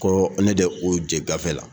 Ko ne de k'u jɛ gafe la